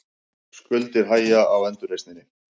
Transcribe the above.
Skuldir hægja á endurreisninni